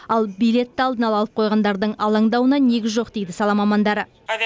ал билетті алдын ала алып қойғандардың алаңдауына негіз жоқ дейді сала мамандары